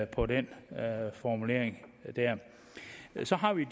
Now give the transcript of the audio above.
på den formulering så har vi